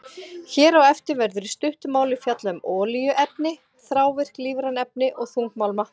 Hér á eftir verður í stuttu máli fjallað um olíuefni, þrávirk lífræn efni og þungmálma.